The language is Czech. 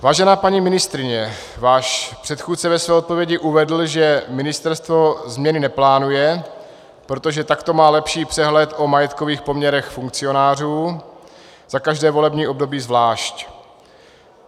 Vážená paní ministryně, váš předchůdce ve své odpovědi uvedl, že ministerstvo změny neplánuje, protože takto má lepší přehled o majetkových poměrech funkcionářů za každé volební období zvlášť.